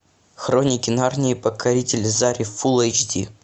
хроники нарнии покорители зари фул эйч ди